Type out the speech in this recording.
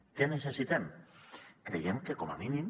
què necessitem creiem que com a mínim